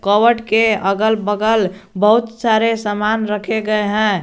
Cupboard के अगल बगल बहुत सारे सामान रखे गए हैं।